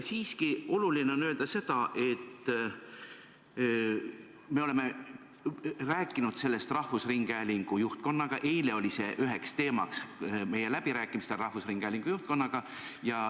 Siiski on oluline öelda seda, et me oleme rääkinud sellest rahvusringhäälingu juhtkonnaga, eile oli see üks teema meie läbirääkimistel rahvusringhäälingu juhtkonnaga.